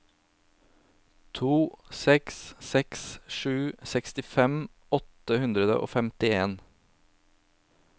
to seks seks sju sekstifem åtte hundre og femtien